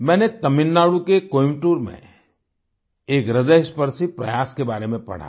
मैंने तमिलनाडु के कोयंबटूर में एक ह्रदयस्पर्शी प्रयास के बारे में पढ़ा